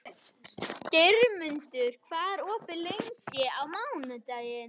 Geirmundur, hvað er opið lengi á mánudaginn?